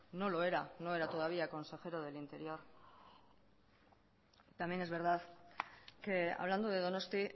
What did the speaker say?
no lo era no era todavía consejero de interior también es verdad que hablando de donosti